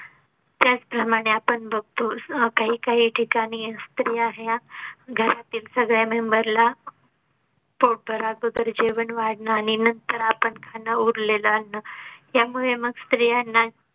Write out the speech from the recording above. त्याचप्रमाणे आपण बघतो काही काही ठिकाणी स्रिया ह्या घरातील सगळे member ला. पोटभरच जेवण वाढणं आणि नंतर आपण खाणं उरलेलं अन्न. यामुळे मग स्त्रीयांना